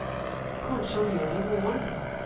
Kanskje han gjør det i morgen.